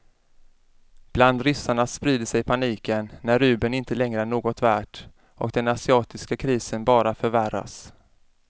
Bland ryssarna sprider sig paniken när rubeln inte längre är något värd och den asiatiska krisen bara förvärras.